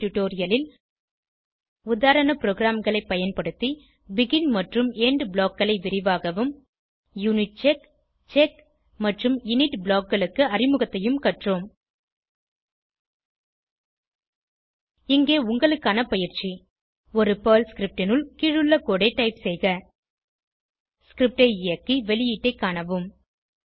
இந்த டுடோரியலில் உதாரண ப்ரோகிராம்களை பயன்படுத்தி பெகின் மற்றும் எண்ட் blockகளை விரிவாகவும் யூனிட்செக் செக் மற்றும் இனிட் blockகளுக்கு அறிமுகத்தையும் கற்றோம் இங்கே உங்களுக்கான பயிற்சி ஒரு பெர்ல் scriptனுள் கீழுள்ள கோடு ஐ டைப் செய்க ஸ்கிரிப்ட் ஐ இயக்கி வெளியீட்டைக் காணவும்